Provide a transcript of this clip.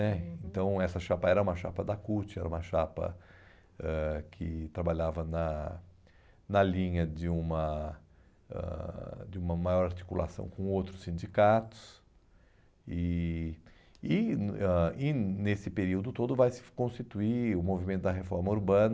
né, uhum, então essa chapa era uma chapa da CUT, era uma chapa ãh que trabalhava na na linha de uma ãh de uma maior articulação com outros sindicatos e e ãh e nesse período todo vai se constituir o movimento da reforma urbana,